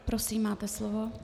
Prosím, máte slovo.